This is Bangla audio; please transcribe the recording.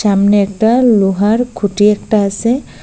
সামনে একটা লোহার খুঁটি একটা আসে।